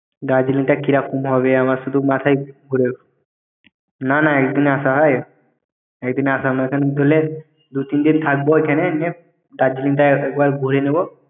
"দার্জিলিংটা কীরকম হবে আমার শুধু মাথাই । নানা একদিনে আশা হয়! একদিনে আশা দুই তিন দিন থাকব ওইখানে color=""ffffff"" দার্জিলিংটা একবার ঘুরে নেবো।"